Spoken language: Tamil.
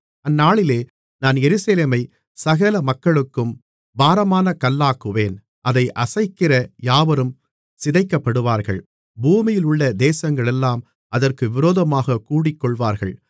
அந்நாளிலே நான் எருசலேமை சகல மக்களுக்கும் பாரமான கல்லாக்குவேன் அதை அசைக்கிற யாவரும் சிதைக்கப்படுவார்கள் பூமியிலுள்ள தேசங்களெல்லாம் அதற்கு விரோதமாகக் கூடிக்கொள்வார்கள்